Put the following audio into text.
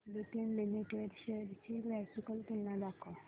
Lupin limited shares ची graphical तुलना दाखव